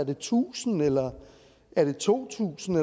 det tusind eller er det to tusind